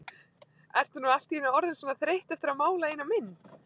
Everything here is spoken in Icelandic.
Ertu nú allt í einu orðin svona þreytt eftir að mála eina mynd?